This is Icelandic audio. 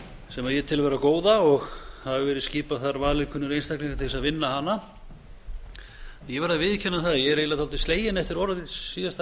sem ég tel vera góða og hafa verið skipaðir þar valinkunnir einstaklingar til að vinna hana ég verð að viðurkenna það að ég er eiginlega dálítið sleginn eftir orð síðasta